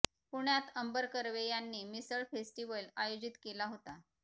पुण्यात अंबर कर्वे यांनी मिसळ फेस्टीवल आयोजित केला होता